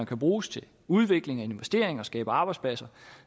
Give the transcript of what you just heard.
kan bruges til udvikling og investering og kan skabe arbejdspladser